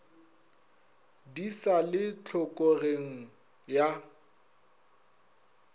di sa le tlhokogeng ya